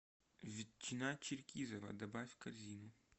ветчина черкизово добавь в корзину